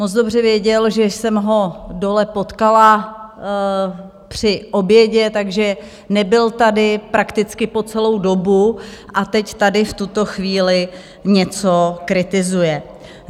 Moc dobře věděl, že jsem ho dole potkala při obědě, takže nebyl tady prakticky po celou dobu a teď tady v tuto chvíli něco kritizuje.